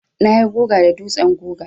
Na yi guga da dutsen guga.